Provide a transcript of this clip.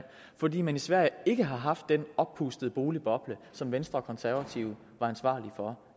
fordi man i sverige ikke har haft den oppustede boligboble som venstre og konservative var ansvarlige for